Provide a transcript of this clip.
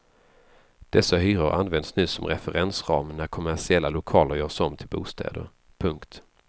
Dessa hyror används nu som referensram när kommersiella lokaler görs om till bostäder. punkt